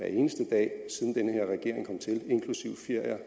eneste dag inklusive ferier